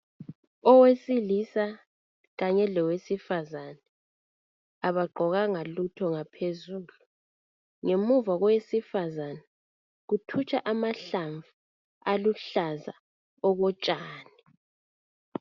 Owesilisa kanye lowesifazana kabagqokanga lutho phezulu ngemuva kowesifazana kuthutsha amahlamvu aluhlaza okotshani